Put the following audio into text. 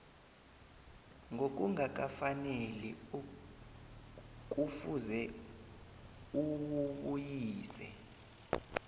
ngokungakafaneli kufuze uwubuyise